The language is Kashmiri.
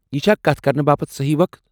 یہِ چھا كتھ كرنہٕ باپت سہی وقت ؟